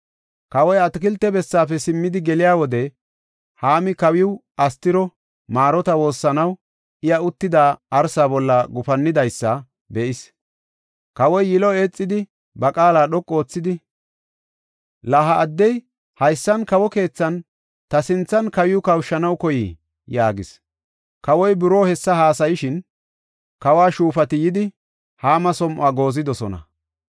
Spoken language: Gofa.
Kawoy atakilte bessaafe simmidi geliya wode, Haami kawiiw Astiro maarota woossanaw, iya uttida arsa bolla gufannidaysa be7is. Kawoy yilo eexidi, ba qaala dhoqu oothidi, “La ha addey haysan kawo keethan, ta sinthan, kawiw kawushanaw koyiyee?” yaagis. Kawoy buroo hessa haasayishin, kawo shuufati yidi, Haama som7uwa goozidosona.